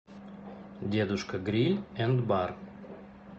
дедушка гриль энд бар